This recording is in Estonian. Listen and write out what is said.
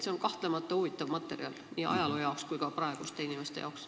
See on kahtlemata huvitav materjal nii ajaloo seisukohalt kui ka praeguste inimeste jaoks.